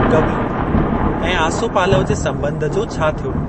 कवी ऐं आसोपालव जे संॿंध जो छा थियो?